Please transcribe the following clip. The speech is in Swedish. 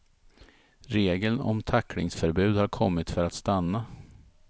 Regeln om tacklingsförbud har kommit för att stanna.